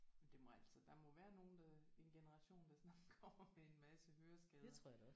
Men det må altså der må være nogen der en generation der sådan kommer med en masse høreskader